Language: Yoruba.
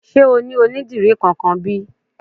Sé o ní onídìrí kankan bí?